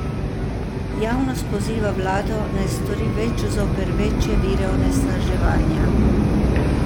Javnost poziva vlado, naj stori več zoper večje vire onesnaževanja.